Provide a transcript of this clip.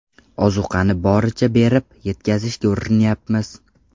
Ozuqani boricha berib, yetkazishga urinyapmiz.